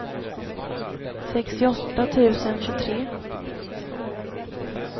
sextioåtta tusen tjugotre